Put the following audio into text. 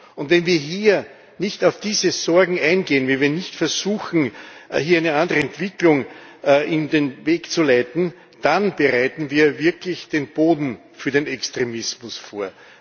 Und wenn wir nicht auf diese Sorgen eingehen, wenn wir nicht versuchen, hier eine andere Entwicklung in die Wege zu leiten, dann bereiten wir wirklich den Boden für den Extremismus vor.